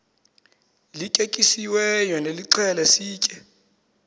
lityetyisiweyo nilixhele sitye